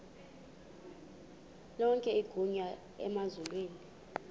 lonke igunya emazulwini